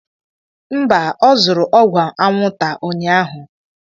Mba, ọ zụrụ ọgwụ anwụnta unyaahụ.